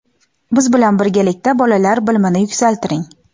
biz bilan birgalikda bolalar bilimini yuksaltiring.